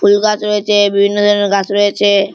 ফুল গাছ রয়েছে বিভিন্ন ধরনের গাছ রয়েছে।